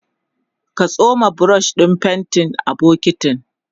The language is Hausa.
ka tsoma brush ɗin faintin a bokintin